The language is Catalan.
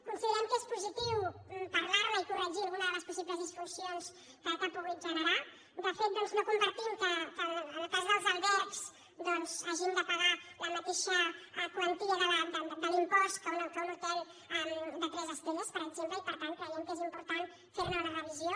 considerem que és positiu parlar ne i corregir alguna de les possibles disfuncions que ha pogut generar de fet no compartim que en el cas dels albergs hagin de pagar la mateixa quantia de l’impost que un hotel de tres estrelles per exemple i per tant creiem que és important fer ne una revisió